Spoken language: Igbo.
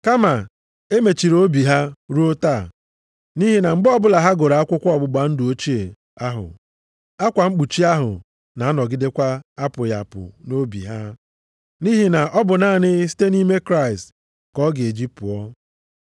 Kama e mechiri obi ha ruo taa. Nʼihi na mgbe ọbụla ha gụrụ akwụkwọ ọgbụgba ndụ ochie ahụ, akwa mkpuchi ahụ na-anọgidekwa apụghị apụ nʼobi ha, nʼihi na ọ bụ naanị site nʼime Kraịst ka ọ ga-eji pụọ.